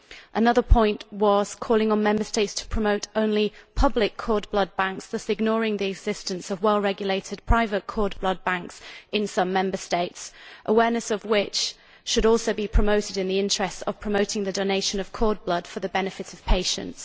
Another point was calling on Member States to promote only public cord blood banks, thus ignoring the existence of well regulated private cord blood banks in some Member States, awareness of which should also be promoted in the interests of promoting the donation of cord blood for the benefit of patients.